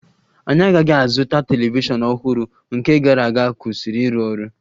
Anyị aghaghị ịzụta telivishọn ọhụrụ, nke gara aga kwụsịrị ịrụ ọrụ